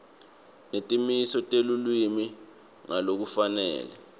netimiso telulwimi ngalokufanele